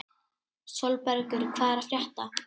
Sólbergur, hvað er að frétta?